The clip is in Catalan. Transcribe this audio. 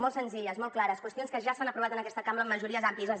molt senzilles molt clares qüestions que ja s’han aprovat en aquesta cambra amb majories àmplies